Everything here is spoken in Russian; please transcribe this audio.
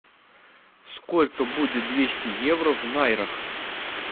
сколько будет двести евро в найрах